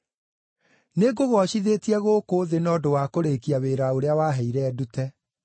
Nĩngũgoocithĩtie gũkũ thĩ na ũndũ wa kũrĩĩkia wĩra ũrĩa waheire ndute.